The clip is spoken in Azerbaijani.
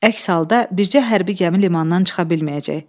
Əks halda bircə hərbi gəmi limandan çıxa bilməyəcək.